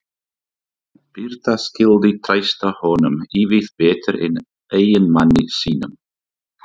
Birta skyldi treysta honum ívið betur en eiginmanni sínum.